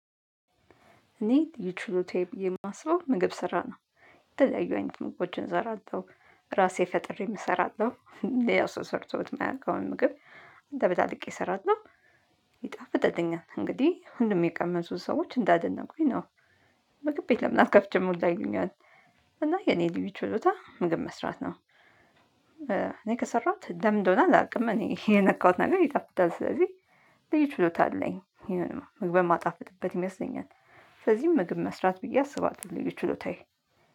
እኔ ልዩ ችሎታዬ ብዬ የማስበው ምግብ ስራ ነው። የተለያዩ አይነት ምግቦችን እሰራለሁ ራሴ ፈጥሬም እሰራለሁ ሌላ ሰው ሰርቶት የማያውቀውን ምግብ አደበላልቄ እሰራለሁ። ይጣፍጥልኛል እንግዲህ ሁሉም የቀመሱ ሰዎች እንዳደነቁኝ ነው። ምግብ ቤት ለምን አከፍችም ሁላ ይሉኛል። እና የኔ ልዩ ችሎታ ምግብ መስራት ነው። እኔ ከሰራሁት ለምን እንደሆነ አላውቅም እኔ የነካሁት ነገር ይጣፍጣል ስለዚህ። ልዩ ችሎታ አለኝ ምግብ ማጣፍጥበት ይመስለኛል። ስለዚህም ምግብ መስራት ብዬ አስባለው ልዩ ችሎታዬ